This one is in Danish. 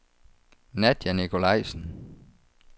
Nadja Nicolajsen